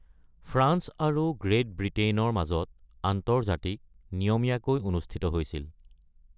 France আৰু great ব্ৰিটেইনৰ মাজত আন্তৰ্জাতিক নিয়মীয়াকৈ অনুষ্ঠিত হৈছিল।